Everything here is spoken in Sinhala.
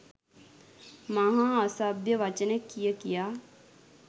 මහා අසභ්‍ය වචන කිය කියා